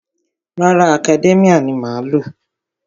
Rárá, Academia ni mo má ń lò.